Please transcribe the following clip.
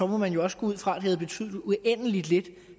må man jo også gå ud fra at det havde betydet uendelig lidt